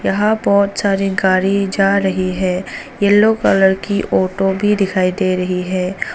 यहां बहुत सारी गाड़ी जा रही है येलो कलर की ऑटो भी दिखाई दे रही है।